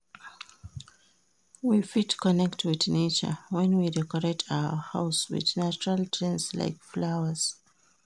We fit connect with nature when we decorate our house with natural things like flowers